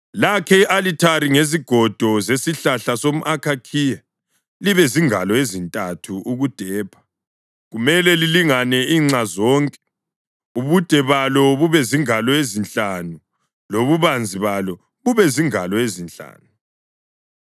“Lakhe i-alithari ngezigodo zesihlahla somʼakhakhiya libe zingalo ezintathu ukudepha, kumele lilingane inxa zonke, ubude balo bube zingalo ezinhlanu lobubanzi balo bube zingalo ezinhlanu.